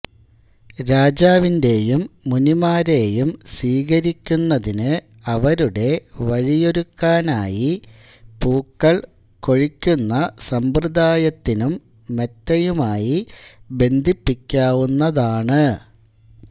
രാജാവിന്റെയും മുനിമാരെയും സ്വീകരിക്കുന്നതിനു അവരുടെ വഴിയൊരുക്കാനായി പൂക്കൾ കൊഴിക്കുന്ന സമ്പ്രദായത്തിനും മെത്തയുമായി ബന്ധിപ്പിക്കാവുന്നതാണ്